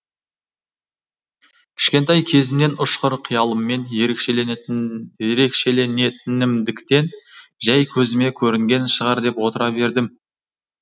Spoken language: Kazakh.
кішкентай кезімнен ұшқыр қиялыммен ерекшеленетінімдіктен жәй көзіме көрінген шығар деп отыра бердім